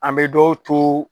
An bɛ dɔw to